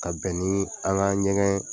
Ka bɛn ni an ka ɲɛgɛn